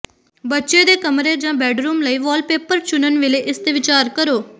ਬੱਚੇ ਦੇ ਕਮਰੇ ਜਾਂ ਬੈਡਰੂਮ ਲਈ ਵਾਲਪੇਪਰ ਚੁਣਨ ਵੇਲੇ ਇਸ ਤੇ ਵਿਚਾਰ ਕਰੋ